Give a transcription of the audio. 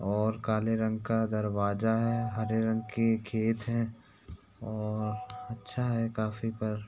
और काले रंग का दरवाज़ा है हरे रंग के खेत हैं और अच्छा है काफी पर --